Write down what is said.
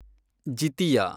Jitiya